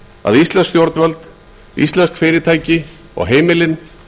að íslensk stjórnvöld íslensk fyrirtæki og heimilin